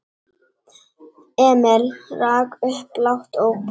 Emil rak upp lágt óp.